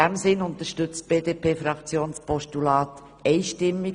In dem Sinn unterstützt die BDP-Fraktion das Postulat einstimmig.